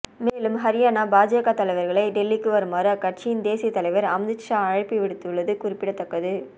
மேலும் ஹரியானா பாஜக தலைவர்களை டெல்லிக்கு வருமாறு அக்கட்சியின் தேசியத் தலைவர் அமித்ஷா அழைப்பு விடுத்துள்ளது குறிப்பிடத்தக்கது